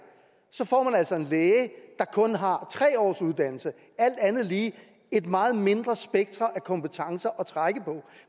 så får man altså en læge der kun har tre års uddannelse alt andet lige et meget mindre spektre af kompetencer at trække på